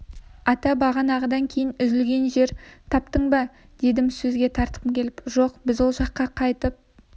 ата бағанағыдан кейін үзілген жер таптың ба дедім сөзге тартқым келіп жоқ біз ол жаққа қайтып